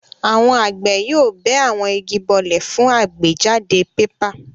Àwọn àgbẹ̀ yóò bẹ́ àwọn igi bọ́lẹ̀ fún àgbéjáde pépà.